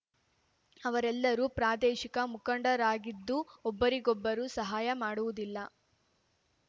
ಅವರೆಲ್ಲರೂ ಪ್ರಾದೇಶಿಕ ಮುಖಂಡರಾಗಿದ್ದು ಒಬ್ಬರಿಗೊಬ್ಬರು ಸಹಾಯ ಮಾಡುವುದಿಲ್ಲ